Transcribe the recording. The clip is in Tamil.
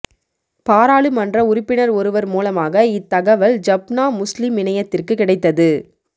பாராளுமன்ற உறுப்பினர் ஒருவர் மூலமாக இத்தகவல் ஜப்னா முஸ்லிம் இணையத்திற்கு கிடைத்தது